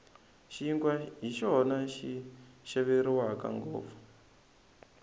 xinkwa hi xona xi xaveriwaka ngopfu